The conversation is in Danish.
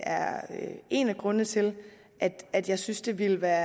er en af grundene til at jeg synes det ville være